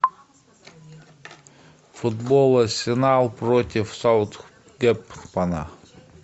футбол арсенал против саутгемптона